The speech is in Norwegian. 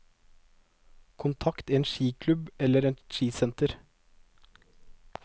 Kontakt en skiklubb, eller et skisenter.